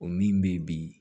O min bɛ ye bi